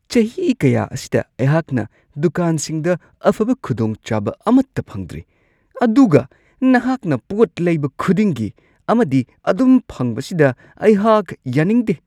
ꯆꯍꯤ ꯀꯌꯥ ꯑꯁꯤꯗ ꯑꯩꯍꯥꯛꯅ ꯗꯨꯀꯥꯟꯁꯤꯡꯗ ꯑꯐꯕ ꯈꯨꯗꯣꯡꯆꯥꯕ ꯑꯃꯠꯇ ꯐꯪꯗ꯭ꯔꯤ ꯑꯗꯨꯒ ꯅꯍꯥꯛꯅ ꯄꯣꯠ ꯂꯩꯕ ꯈꯨꯗꯤꯡꯒꯤ ꯑꯃꯗꯤ ꯑꯗꯨꯝ ꯐꯪꯕꯁꯤꯗ ꯑꯩꯍꯥꯛ ꯌꯥꯅꯤꯡꯗꯦ ꯫